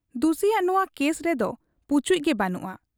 ᱫᱩᱥᱤᱭᱟᱜ ᱱᱚᱣᱟ ᱠᱮᱥ ᱨᱮᱫᱚ ᱯᱩᱪᱩᱡ ᱜᱮ ᱵᱟᱹᱱᱩᱜ ᱟ ᱾